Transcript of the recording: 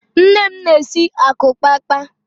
Nne m na-esi akukpaakpa